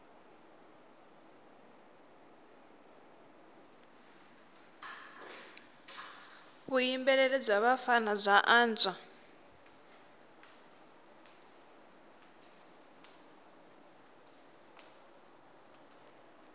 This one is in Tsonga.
vuyimbeleri bya vafana bya antswa